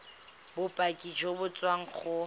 bopaki jo bo tswang go